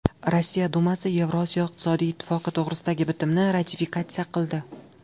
Rossiya Dumasi Yevrosiyo iqtisodiy ittifoqi to‘g‘risidagi bitimni ratifikatsiya qildi.